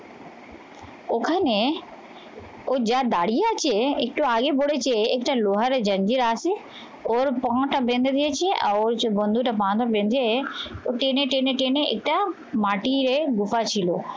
ওখানে ও যা দাঁড়িয়ে আছে একটু আগে বলেছে একটা লোহারে জঞ্জিরা আছে ওর কোমরটা বেঁধে দিয়েছি আর ওই যে বন্ধুটা বাঁধা বেঁধে ও টেনে টেনে টেনে এটা মাটির এ ছিল